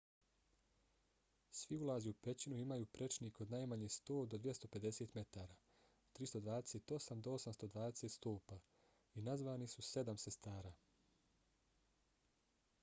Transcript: svi ulazi u pećinu imaju prečnik od najmanje 100 do 250 metara 328 do 820 stopa i nazvani su sedam sestara